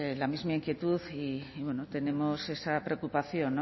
la misma inquietud y tenemos esa preocupación